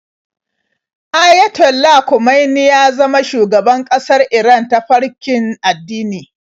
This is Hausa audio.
Ayatollah Khomeini ya zama shugaban ƙasar Iran ta farkin addini.